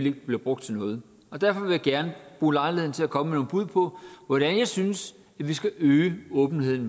ikke bliver brugt til noget og derfor vil jeg gerne bruge lejligheden til at komme med nogle bud på hvordan jeg synes vi skal øge åbenheden